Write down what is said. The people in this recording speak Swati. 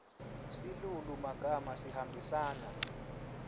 silulumagama sihambisana